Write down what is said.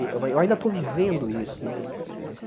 Eu eu ainda estou vivendo isso né. Eh esse